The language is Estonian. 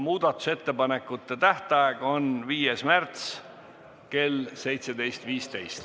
Muudatusettepanekute tähtaeg on 5. märts kell 17.15.